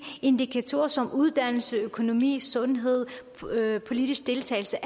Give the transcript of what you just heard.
indikatorer som uddannelse økonomi sundhed politisk deltagelse